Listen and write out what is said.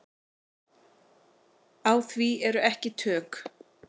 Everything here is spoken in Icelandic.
Á því eru ekki tök.